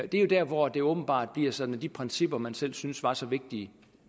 det er jo der hvor det åbenbart bliver sådan at de principper man selv syntes var så vigtige